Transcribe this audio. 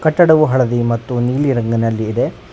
ಕಟ್ಟಡವು ಹಳದಿ ಮತ್ತು ನೀಲಿ ರಂಗನಲ್ಲಿ ಇದೆ.